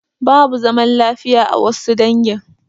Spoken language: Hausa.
Babu zaman lafiya a wassu dangi